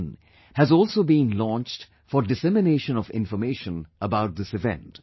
in has also been launched for dissemination of information about this event